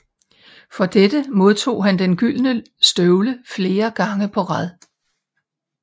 For dette modtog han den gyldne støvle fire gange på rad